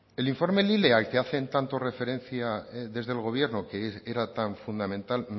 el informe lile al que hacen tanta referencia desde el gobierno que era tan fundamental